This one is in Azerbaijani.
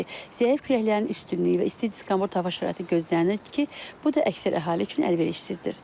Belə ki, zəif küləklərin üstünlüyü və isti diskomfort hava şəraiti gözlənilir ki, bu da əksər əhali üçün əlverişsizdir.